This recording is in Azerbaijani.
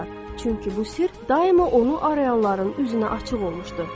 Çünki bu sirr daima onu axtaranların üzünə açıq olmuşdu.